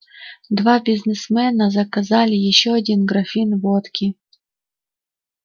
два бизнесмена заказали ещё один графин водки